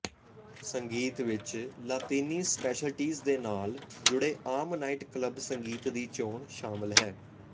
ਸੰਗੀਤ ਵਿੱਚ ਲਾਤੀਨੀ ਸਪੈਸ਼ਲਟੀਜ਼ ਦੇ ਨਾਲ ਜੁੜੇ ਆਮ ਨਾਈਟ ਕਲੱਬ ਸੰਗੀਤ ਦੀ ਚੋਣ ਸ਼ਾਮਲ ਹੈ